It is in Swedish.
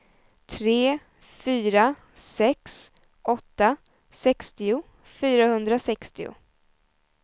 tre fyra sex åtta sextio fyrahundrasextio